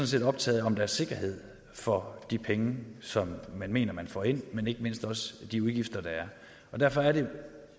set optaget af om der er sikkerhed for de penge som man mener man får ind men ikke mindst de udgifter der er derfor er det